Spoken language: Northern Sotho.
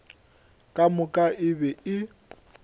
ka moka e be e